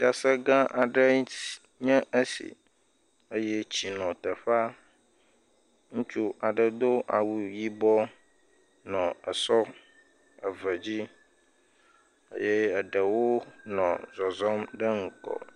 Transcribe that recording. Fiase gã aɖe nye esi eye tsi nɔ teƒea ŋutsu aɖe do awu yibɔ nɔ esɔ eve dzi eye eɖewo nɔ zɔzɔm ɖe ŋgɔ.